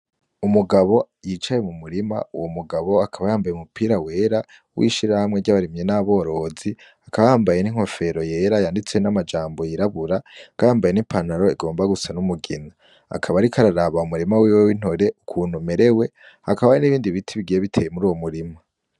Umugabo yicaye mu murima uwo mugabo akaba yambaye umupira wera wishirahamwe ryabarimyi n'aborozi akaba yambaye n'inkofera yera yanditseko namajambo yirabura akaba ayambaye n'ipantaro igomba gusa numugina akaba ariko araraba mumurima wiwe wintore ukuntu umerewe hakaba hari n'ibindi biti bigiye biteye muruwo murima.